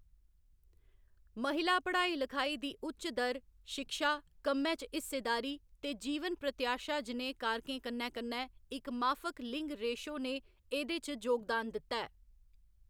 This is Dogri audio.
महिला पढ़ाई लखाई दी उच्च दर, शिक्षा, कम्मै च हिस्सेदारी ते जीवन प्रत्याशा जनेह् कारकें कन्नै कन्नै इक माफक लिंग रेशो ने एह्‌‌‌दे च जोगदान दित्ता ऐ।